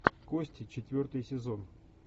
кости четвертый сезон